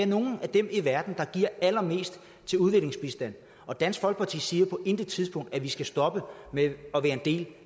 nogle af dem i verden der giver allermest til udviklingsbistand og dansk folkeparti siger på intet tidspunkt at vi skal stoppe med at være en del